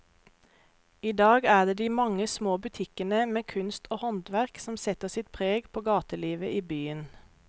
I dag er det de mange små butikkene med kunst og håndverk som setter sitt preg på gatelivet i byen.